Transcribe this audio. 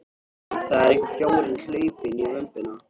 Æ, það er einhver fjárinn hlaupinn í vömbina.